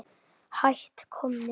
Hætt komnir.